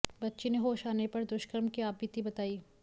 बच्ची ने होश आने पर दुष्कर्म की आपबीती बताई